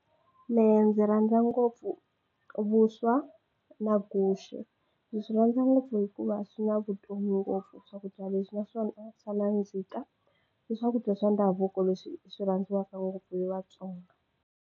Mehe ndzi rhandza ngopfu vuswa na guxe ndzi swi rhandza ngopfu hikuva swi na vutomi ngopfu swakudya leswi naswona swa nandzika i swakudya swa ndhavuko leswi swi rhandziwaka ngopfu hi Vatsonga.